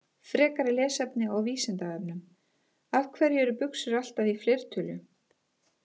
Frekara lesefni á Vísindavefnum: Af hverju eru buxur alltaf í fleirtölu?